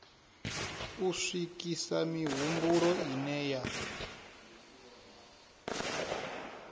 u swikisa mihumbulo ine ya